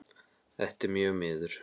Þetta er mjög miður.